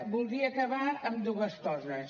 voldria acabar amb dues coses